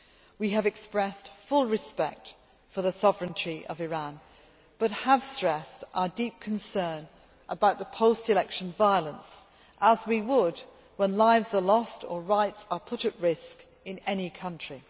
We have expressed full respect for the sovereignty of Iran, but have stressed our deep concern about the post election violence, as we would when lives are lost or rights are put at risk in any country.